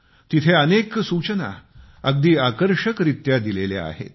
तिथे अनेक सूचना अगदी आकर्षकरीत्या दिलेल्या आहेत